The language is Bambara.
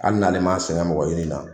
ali n'ale m'a sɛgɛn mɔgɔ ɲinin na